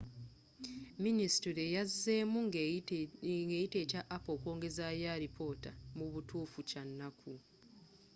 ministule yazzeemu nga eyita ekya apple okwongezayo alipota mu butuufu kya nnaku.